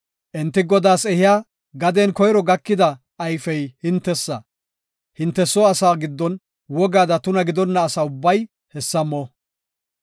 Enti Godaas ehiya gaden koyro gakida ayfey hintesa; hinte soo asaa giddon wogaada tuna gidonna ubbay hessa mo.